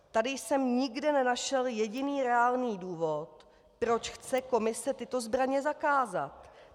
Tady jsem nikde nenašel jediný reálný důvod, proč chce Komise tyto zbraně zakázat.